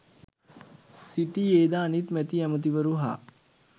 සිටියේද අනිත් මැති ඇමැතිවරු හා